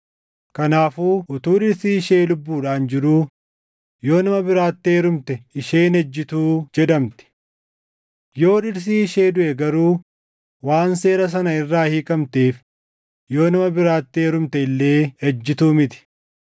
Kanaafuu utuu dhirsi ishee lubbuudhaan jiruu yoo nama biraatti heerumte isheen ejjituu jedhamti. Yoo dhirsi ishee duʼe garuu waan seera sana irraa hiikamteef yoo nama biraatti heerumte illee ejjitu miti.